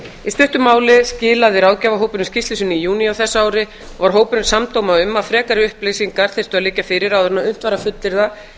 í stuttu máli skilaði ráðgjafarhópurinn skýrslu sinni í júní á þessu ári var hópurinn samdóma um að frekari upplýsingar þyrftu að liggja fyrir áður en unnt væri að fullyrða